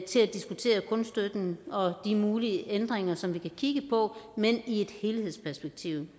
til at diskutere kunststøtten og de mulige ændringer som vi kan kigge på men i et helhedsperspektiv